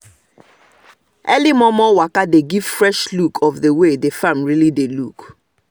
i record the way the pepper dey take grow tall for the side of the bamboo stick